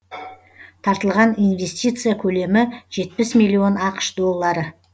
тартылған инвестиция көлемі жетпіс миллион ақш доллары